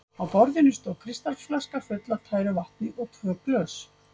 Á borðinu stóð kristalsflaska full af tæru vatni og tvö glös.